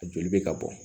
A joli bɛ ka bɔ